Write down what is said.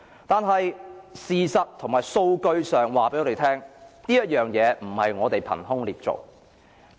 但事實及數據告訴我們，對警隊的批評不是我們憑空捏造。